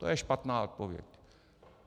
To je špatná odpověď.